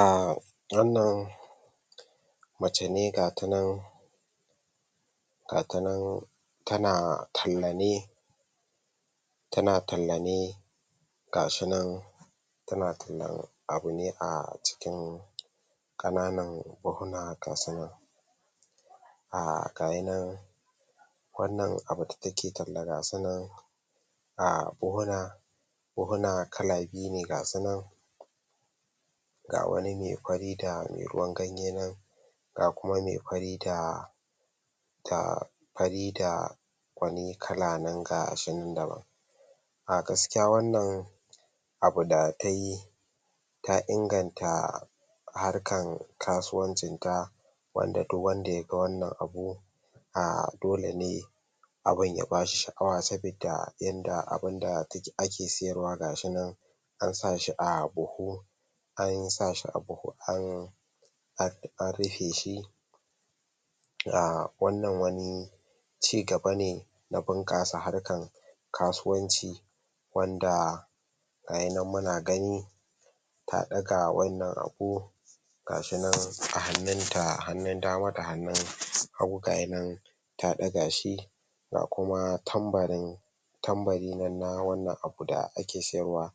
um wannan mace ne gatanan gatanan tana talla ne tana talla ne gashinan tana tallan abu ne a cikin kananan buhuna gasu nan [um]gayinan wannan abu da take tallah gasunan a buhuna buhuna kala biyu ne gasunan ga wani me fari da me ruwan ganye nan ga kuma me fari da da fari da wani kalanan gashinan daban a gaskiya wannan abu da tayi ta inganta harkan kasuwancin ta wanda duk wanda yaga wannan abu um dole ne abun ya bashi sha'awa sabidda yanda abinda take ake siyarwa gashi nan ansashi a buhu ansashi a buhu an an anrufeshi um wannan wani cigaba ne na bunƙasa harkan kasuwanci wanda ga yinan muna gani ta ɗaga wannan abu gashinan a hanunta hannu dama da hannun hagu gayinan ta ɗagashi ga kuma tanbarin tanbari nan na wannan abu da ake siyarwa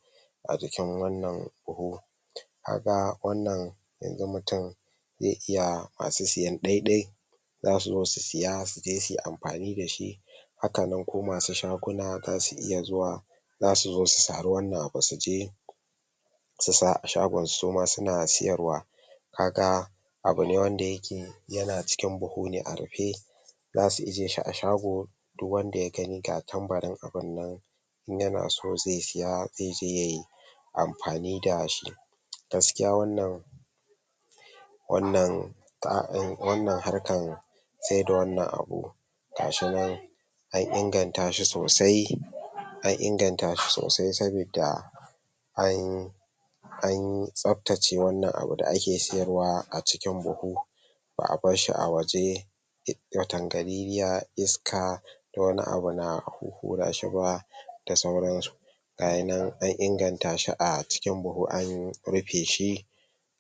a jikin wannan buhu kaga wannan yanxu mutum zai iya masu siyan ɗaiɗai zasu zo su siya suje suyi amfani dashi hakanan ko masu shaguna zasu iya zuwa zasu zo su sari wannan abu suje su sa a shagonsu suma suna siyarwa kaga abune wanda yake yana cikin buhune a rufe zasu ijjeshi a shago duk wanda yagani ga tanbarin abun nan inyana so zai siya zaije yayi amfani dashi gaskiya wannan wannan wannan harkan saida wannan abu gashinan an ingantashi sosai an ingantashi sosai sabidda an an tsaftace wannan abu da ake siyarwa a cikin buhu ba a barshi a waje watangaliliyar iska da wani abu na huhhurashi ba da sauransu gayinan an ingantashi a cikin buhu an rufeshi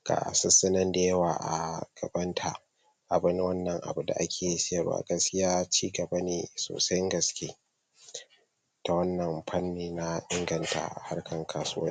gasussunan da yawa a gabanta abu ne wannan abu da ake siyarwa gaskiya cigaba ne sosan gaske ta wannan fanni na inganta harkan kasuwanci